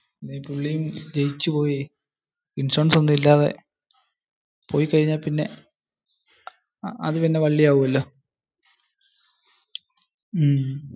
Insurance ഒന്നും ഇല്ലാതെ പോയി കഴിഞ്ഞ പിന്നെ അത് പിന്നെ വള്ളി ആക്ചുവല്ലോ.